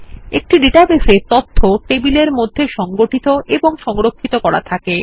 একটি ডাটাবেস এ তথ্য টেবিলের মধ্যে সংগঠিত এবং সংরক্ষিত করা থাকে